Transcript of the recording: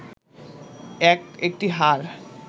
এক একটি হাড়